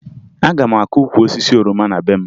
Aga m akụ ukwu osisi oroma na be m